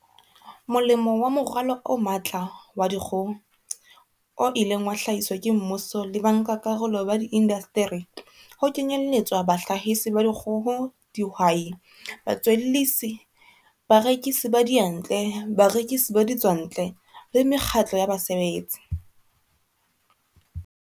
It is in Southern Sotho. Molemo wa Moralo o Matla wa Dikgoho, o ileng wa hlahiswa ke mmuso le ba nkakarolo ba diindasteri, ho kenyeletswa bahlahisi ba dikgoho, dihwai, batswellisi, barekisi ba diyantle, barekisi ba ditswantle le mekgatlo ya basebetsi.